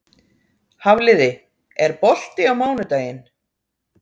Hafliði, er bolti á mánudaginn?